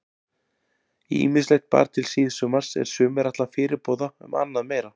Ýmislegt bar til síðsumars er sumir ætla fyrirboða um annað meira.